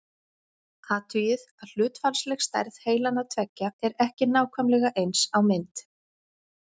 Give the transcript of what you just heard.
Athugið að hlutfallsleg stærð heilanna tveggja er ekki nákvæmlega eins á mynd.